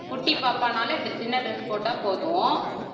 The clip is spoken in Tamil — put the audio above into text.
குட்டி பாப்பானால dr~ சின்ன dress போட்டா போதும்.